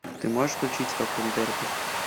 ты можешь включить скакун дерби